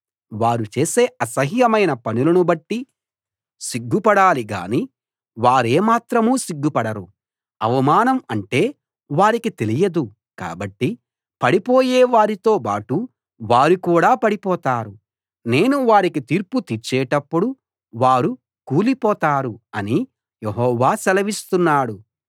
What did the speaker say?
వారు చేసే అసహ్యమైన పనులను బట్టి సిగ్గుపడాలి గాని వారేమాత్రం సిగ్గుపడరు అవమానం అంటే వారికి తెలియదు కాబట్టి పడిపోయే వారితోబాటు వారు కూడా పడిపోతారు నేను వారికి తీర్పు తీర్చేటప్పుడు వారు కూలిపోతారు అని యెహోవా సెలవిస్తున్నాడు